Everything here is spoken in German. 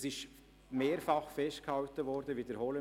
Das ist mehrfach festgehalten worden.